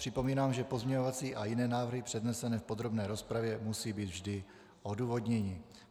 Připomínám, že pozměňovací a jiné návrhy přednesené v podrobné rozpravě musí být vždy odůvodněny.